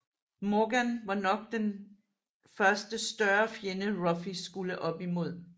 Morgan var nok den første større fjende Ruffy skulle op imod